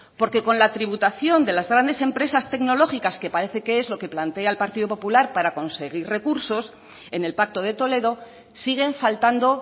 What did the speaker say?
porque con la tributación de las grandes empresas tecnológicas que parece que es lo que plantea el partido popular para conseguir recursos en el pacto de toledo siguen faltando